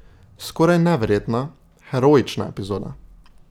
Skoraj neverjetna, heroična epizoda.